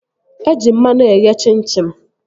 Eji mmanụ eghe chim chim